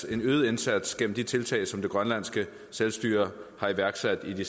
en øget indsats gennem de tiltag som det grønlandske selvstyre har iværksat i de